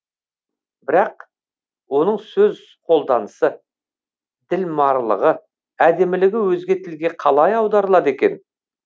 бірақ оның сөз қолданысы ділмарлығы әдемілігі өзге тілге қалай аударылады екен